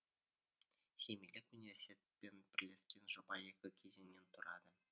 семейлік университетпен бірлескен жоба екі кезеңнен тұрады